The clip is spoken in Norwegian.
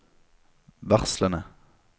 varslene